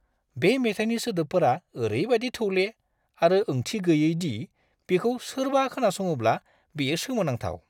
बे मेथाइनि सोदोबफोरा ओरैबायदि थौले आरो ओंथि गैयै दि बेखौ सोरबा खोनासङोब्ला बेयो सोमोनांथाव!